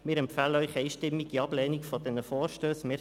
Wir empfehlen Ihnen die einstimmige Ablehnung dieser Vorstösse.